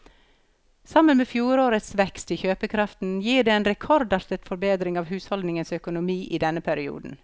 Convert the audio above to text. Sammen med fjorårets vekst i kjøpekraft gir det en rekordartet forbedring av husholdningenes økonomi i denne perioden.